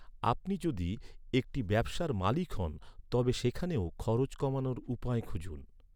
আপনি যদি একটি ব্যবসার মালিক হন, তবে সেখানেও খরচ কমানোর উপায় খুঁজুন।